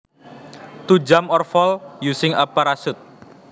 To jump or fall using a parachute